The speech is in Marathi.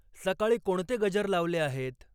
सकाळी कोणते गजर लावले आहेत?